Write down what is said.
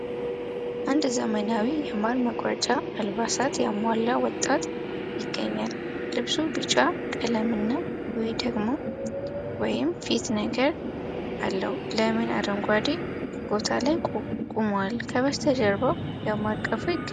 አንድ ዘመናዊ የማር መቁረጫ አልባሳት ያሟላ ወጣት ይገኛል ። ልብሱ ቢጫ ቀለምና ዊ ደግሞ ወይም ፊት ነገር አለው ለምን አረንጓዴ ቦታ ላይ ቁሟል ከጀርባውም የማር ቀፉ ይገኛል ።